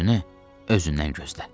Özünü özündən gözlə.